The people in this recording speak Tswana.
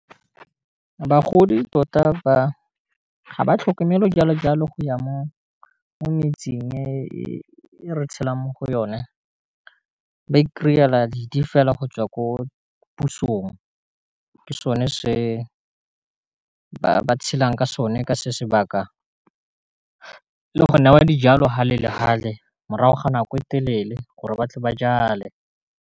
Ba bagodi tota ga ba tlhokomelo jalo jalo go ya mo metsing e re tshelang mo go yone, ba e kry-ela fela ledi go tswa ko pusong, ke sone se ba tshelang ka sone ka se sebaka le go newa dijalo hale le hale, morago ga nako e telele gore ba tle ba jale.